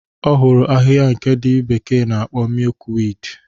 Ọ hụrụ ahịhịa nke ndị bekee na-akpọ mịyụk wiidi.